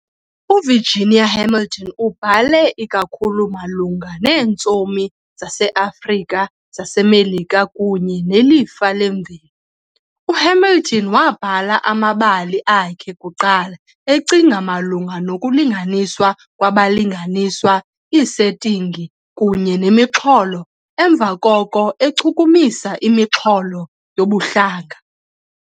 UVirginia Hamilton ubhale ikakhulu malunga neentsomi zase-Afrika zaseMelika kunye nelifa lemveli. U-Hamilton wabhala amabali akhe kuqala ecinga malunga nokulinganiswa kwabalinganiswa, iisetingi, kunye nemixholo, emva koko echukumisa imixholo yobuhlanga.